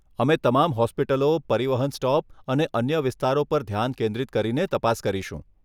અમે તમામ હોસ્પિટલો, પરિવહન સ્ટોપ અને અન્ય વિસ્તારો પર ધ્યાન કેન્દ્રિત કરીને તપાસ કરીશું.